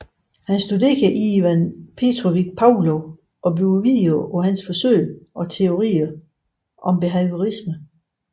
Han studerede Ivan Petrovich Pavlov og byggede videre på hans forsøg og teorier om behaviorisme